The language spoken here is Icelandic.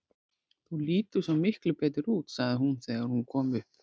Þú lítur svo miklu betur út, sagði hún þegar hún kom upp.